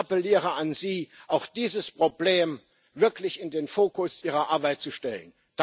Ich appelliere an Sie, auch dieses Problem wirklich in den Fokus Ihrer Arbeit zu stellen.